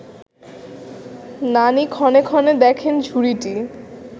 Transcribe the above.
নানি ক্ষণে ক্ষণে দেখেন ঝুড়িটি